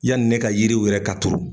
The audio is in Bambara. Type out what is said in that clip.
Yani ne ka yiriw wɛrɛ ka turu